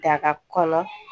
Daga kɔnɔ